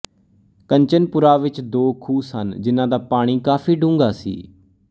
ਕੰਚਨਪੁਰਾ ਵਿੱਚ ਦੋ ਖੂਹ ਸਨ ਜਿਹਨਾਂ ਦਾ ਪਾਣੀ ਕਾਫ਼ੀ ਡੂੰਘਾ ਸੀ